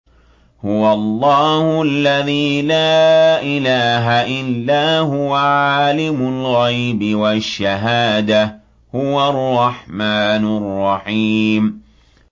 هُوَ اللَّهُ الَّذِي لَا إِلَٰهَ إِلَّا هُوَ ۖ عَالِمُ الْغَيْبِ وَالشَّهَادَةِ ۖ هُوَ الرَّحْمَٰنُ الرَّحِيمُ